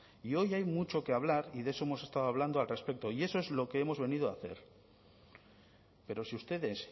y hoy hay mucho que hablar y de eso hemos estado hablando al respecto y eso es lo que hemos venido a hacer pero si ustedes